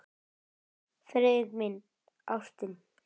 Friðrik minn, ástin.